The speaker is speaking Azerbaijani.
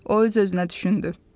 O öz-özünə düşündü.